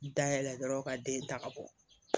Dayɛlɛ dɔrɔn ka den ta ka bɔ